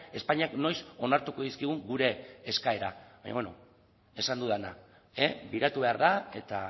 espainiak noiz onartuko dizkigun gure eskaerak baina beno esan dudana begiratu behar da eta